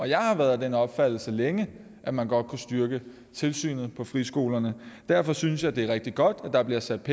jeg har været af den opfattelse længe at man godt kunne styrke tilsynet med friskolerne derfor synes jeg det er rigtig godt at der bliver sat